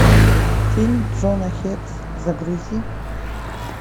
фильм джона хекс загрузи